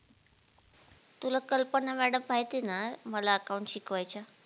तुला कल्पना madam माहिती ना मला account शिकवायच्या